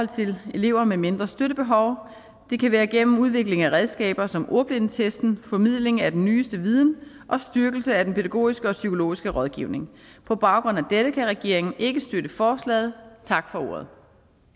til elever med mindre støttebehov det kan være gennem udvikling af redskaber som ordblindetesten formidling af den nyeste viden og styrkelse af den pædagogiske og psykologiske rådgivning på baggrund af dette kan regeringen ikke støtte forslaget tak for ordet